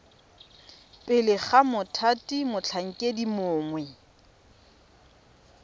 pele ga mothati motlhankedi mongwe